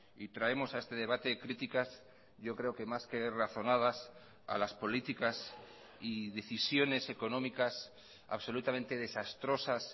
y traemos a este debate críticas yo creo que más que razonadas a las políticas y decisiones económicas absolutamente desastrosas